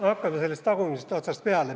Hakkame sellest tagumisest otsast peale.